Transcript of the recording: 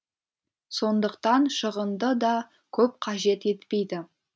сондықтан шығынды да көп қажет етпейді